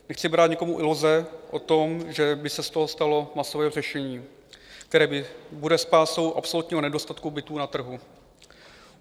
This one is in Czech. Nechci brát nikomu iluze o tom, že by se z toho stalo masové řešení, které bude spásou absolutního nedostatku bytů na trhu.